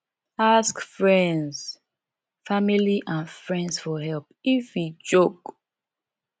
ask friends family and friends for help if e choke